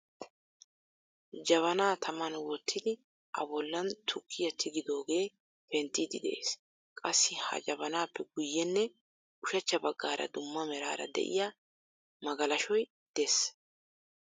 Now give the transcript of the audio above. Jabana taman wottidi, a bollan tukkiyaa tigidooge penttiidi de'ees. Qassi ha jabanappe guyyenne ushachcha baggaara dumma meraara de'iya magalashshoy de'ees.